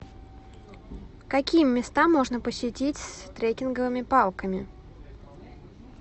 какие места можно посетить с трекинговыми палками